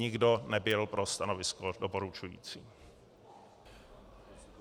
Nikdo nebyl pro stanovisko doporučující.